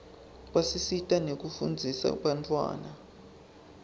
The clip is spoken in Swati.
basisita nekufundzisa bantfwana